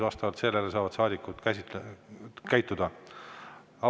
Vastavalt sellele saavad saadikud käituda.